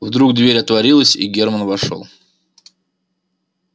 вдруг дверь отворилась и германн вошёл